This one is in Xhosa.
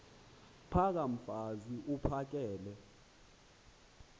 phaka mfaz uphakele